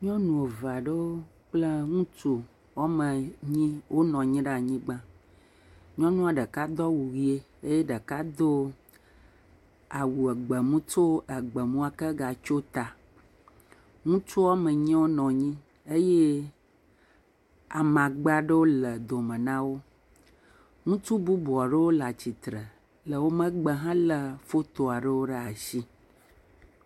Nyɔnu eve aɖewo kple ŋutsu woame enyi wonɔ anyi ɖe anyigba. Nyɔnua ɖeka do awu ʋi eye ɖeka do awu egbe mu gatsɔ gbemu ake gatsio ta. Ŋutsu woame enyi wonɔ anyi eye amagbe aɖewo le dome na wo, ŋutsu bubu aɖewo le atsitre le wo megbe helé foto aɖewo ɖe asi.